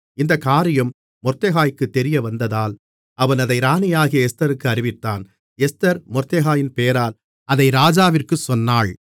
இந்தக் காரியம் மொர்தெகாய்க்குத் தெரியவந்ததால் அவன் அதை ராணியாகிய எஸ்தருக்கு அறிவித்தான் எஸ்தர் மொர்தெகாயின் பெயரால் அதை ராஜாவிற்குச் சொன்னாள்